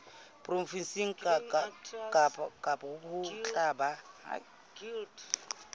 provenseng kang ho tla ba